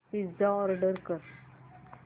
pizza order कर